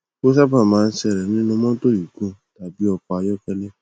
ó sábà máa ń ṣẹlẹ nínú motto gigun tàbí ọkọ ayọkẹlẹ